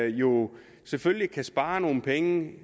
jo selvfølgelig kan spare nogle penge